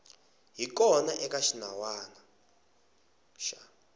hi kona eka xinawana xa